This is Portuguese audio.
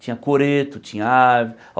Tinha coreto, tinha árvore.